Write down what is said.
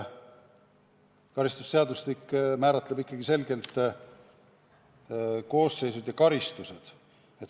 Karistusseadustik määratleb ikkagi selgelt koosseisud ja karistused.